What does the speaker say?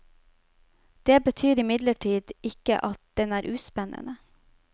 Det betyr imidlertid ikke at den er uspennende.